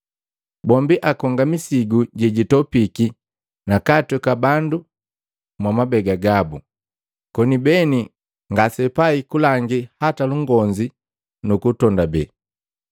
Bombi akonga misigu jejitopiki nakatweka bandu mwamabega gabu, koni beni ngaseapai kulangi hata lukonzi nukutondabe.